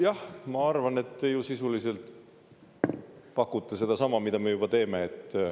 Jah, ma arvan, et te ju sisuliselt pakute sedasama, mida me juba teeme.